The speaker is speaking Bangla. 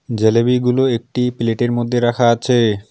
জলিবিগুলো একটি প্লেট -এর মধ্যে রাখা আছে।